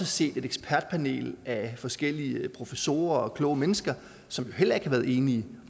set et ekspertpanel af forskellige professorer og andre kloge mennesker som heller ikke har været enige